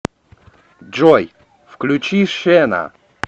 джой включи шена